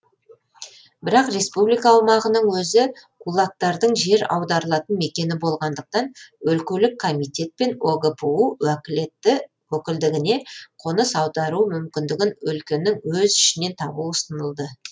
бірак республика аумағының өзі кулактардың жер аударылатын мекені болғандықтан өлкелік комитет пен огпу уәкілетті өкілдігіне қоныс аудару мүмкіндігін өлкенің өз ішінен табу ұсынылды